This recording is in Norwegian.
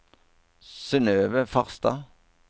Synnøve Farstad